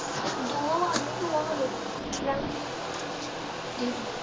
ਤੂੰ ਆਹ ਦੇਖ ਕੀ ਕਹਿੰਦੀ